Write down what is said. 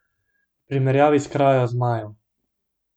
V primerjavi s krajo zmajev.